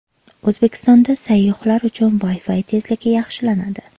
O‘zbekistonda sayyohlar uchun Wi-Fi tezligi yaxshilanadi.